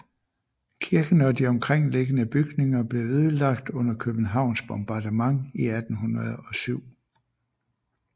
Kirken og de omkringliggende bygninger blev ødelagt under Københavns bombardement i 1807